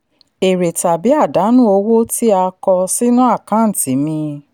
èrè tàbí àdánù owó tí a kọ sínú àkáǹtì míì.